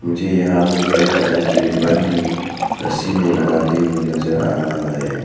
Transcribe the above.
मुझे यहाँ में कई तरह के रिबन भी रस्सी में लगाते नजर आ रहा है।